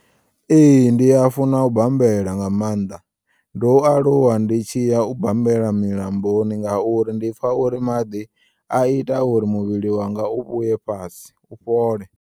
Ee, ndi ya funa u bambela nga maanḓa ndo aluwa nditshiya ubambela milamboni ngauri ndipfa uri maḓi a ita uri muvhili wanga u vhuye fhasi u fhole.